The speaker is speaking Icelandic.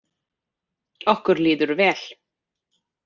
Okkur líður vel.